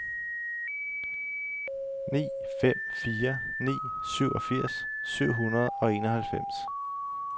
ni fem fire ni syvogfirs syv hundrede og enoghalvfems